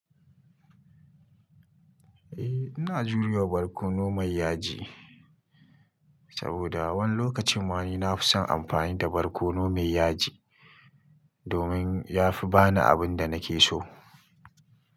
Eh, ina jurewa barkono mai yaji, saboda wani lokacin ma ni na fi son amfani da barkono mai yaji, domin ya fi ba ni abin da nake so.